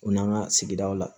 U n'an ka sigidaw la